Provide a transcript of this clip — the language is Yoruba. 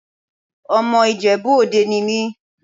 Ọmọ Ìjẹ̀bú Òde ni mí.